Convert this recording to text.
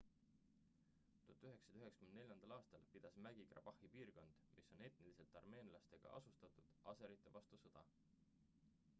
1994 aastal pidas mägi-karbahhi piirkond mis on etniliselt armeenlastega asustatud aserite vastu sõda